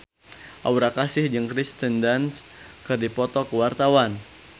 Aura Kasih jeung Kirsten Dunst keur dipoto ku wartawan